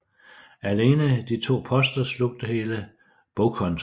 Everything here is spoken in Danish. Alene de to poster slugte hele bogkontoen